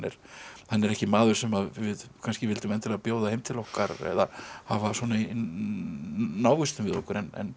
hann er ekki maður sem við vildum endilega bjóða heim til okkar eða hafa svona í návistum við okkur en